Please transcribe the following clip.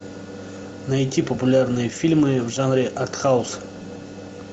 найти популярные фильмы в жанре арт хаус